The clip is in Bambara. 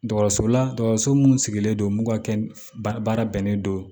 Dɔgɔso la dɔgɔtɔrɔso mun sigilen don mun ka kɛ baara bɛnnen don